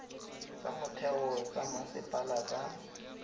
tsa motheo tsa masepala tsa